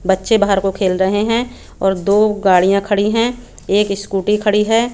बच्चे बाहर को खेल रहे हैं और दो गाड़ियां खड़ी हैं एक स्कूटी खड़ी है।